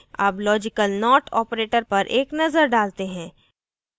अब logical not operator पर एक नज़र डालते हैं